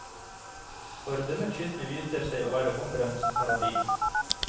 For denne kysten viser seg å være hummerens paradis.